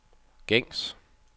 gængs